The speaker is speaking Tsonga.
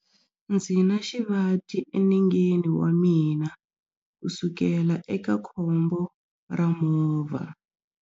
Ndzi na xivati enengeni wa mina kusukela eka khombo ra movha.